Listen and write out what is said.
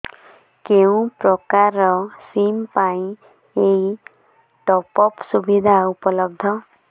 କେଉଁ ପ୍ରକାର ସିମ୍ ପାଇଁ ଏଇ ଟପ୍ଅପ୍ ସୁବିଧା ଉପଲବ୍ଧ